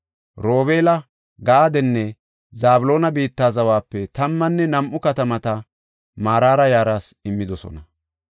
Robeela, Gaadenne Zabloona biitta zawape tammanne nam7u katamata Maraara yaraas immidosona.